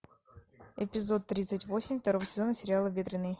эпизод тридцать восемь второго сезона сериала ветренный